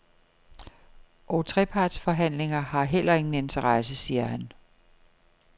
Og trepartsforhandlinger har heller ingen interesse, siger han.